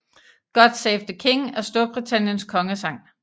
God Save the King er Storbritanniens kongesang